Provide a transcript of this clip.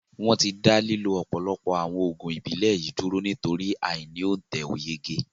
Wọn tí dá lílo ọ̀pọ̀lọpọ̀ àwọn Oògùn Ìbílẹ̀ yìí dúró nítorí ai ni ontẹ̀ oyege